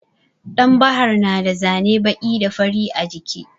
Ɗan bahar na da zane baƙi da fari a jiki.